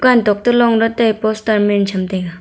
tokto longley tai poster mem chham tega.